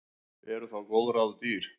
Eru þá góð ráð dýr.